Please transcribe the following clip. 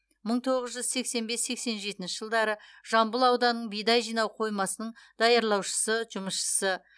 мың тоғыз жүз сексен бес сексен жетінші жылдары жамбыл ауданының бидай жинау қоймасының даярлаушысы жұмысшысы